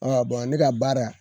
Bɔn ne ka baara